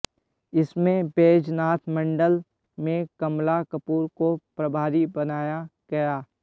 इसमें बैजनाथ मंडल में कमला कपूर को प्रभारी बनाया गया